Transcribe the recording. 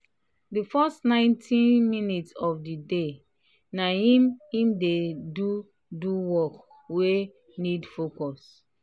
di first ninety-minute of the day na him him he dey do work we need focus.